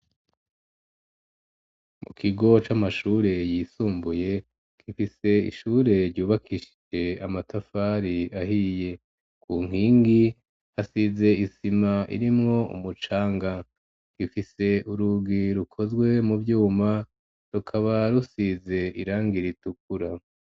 Mu kigo c'amashure yisumbuye gifise ishure ryubakishije amatafari ahiye ku nkingi hasize isima irimwo umucanga gifise urugi rukozwe mu vyuma rukaba rusize irangi ritukura.